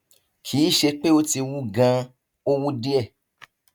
kì í ṣe pé ó ti wú ganan ó wú díẹ